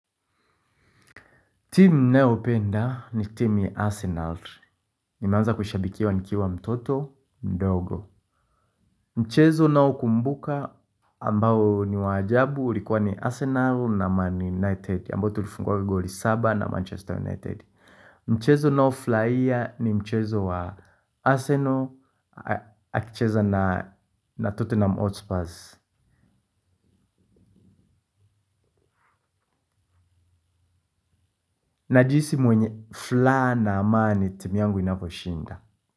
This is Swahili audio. Timu naopenda ni timu ya Arsenal. Nimeanza kushabikiwa nikiwa mtoto, mdogo. Mchezo naokumbuka ambao ni wa ajabu likuwa ni Arsenal na man United ambao tulifungwa goli saba na Manchester United. Mchezo nao furahia ni mchezo wa Arsenal akicheza na na totenham hotspurs. Najihisi mwenye flaha na amani timu yangu inaposhinda.